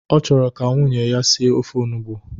Ọ chọrọ ka nwunye ya sie ofe onugbu